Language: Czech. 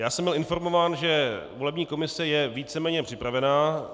Já jsem byl informován, že volební komise je víceméně připravena.